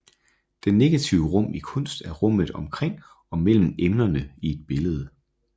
Det negative rum i kunst er rummet omkring og mellem emnerne i et billede